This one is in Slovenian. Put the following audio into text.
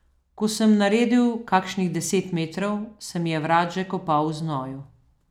Ko sem naredil kakšnih deset metrov, se mi je vrat že kopal v znoju.